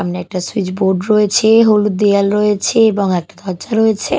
সামনে একটা switch board রয়েছে হলুদ দেওয়াল রয়েছে এবং একটা দরজা রয়েছে।